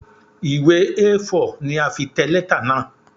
Ìwé A4 ni a fi tẹ letter náà.